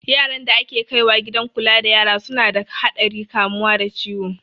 Yaran da ake kaiwa gidan kula da yara su na da haɗarin kamuwa da ciwo